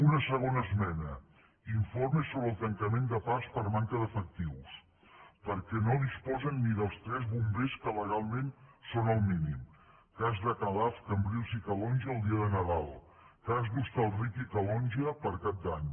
una segona esmena informe sobre el tancament de parcs per manca d’efectius perquè no disposen ni dels tres bombers que legalment són el mínim cas de calaf cambrils i calonge el dia de nadal cas d’hostalric i calonge per cap d’any